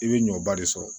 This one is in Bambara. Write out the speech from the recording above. I bɛ ɲɔba de sɔrɔ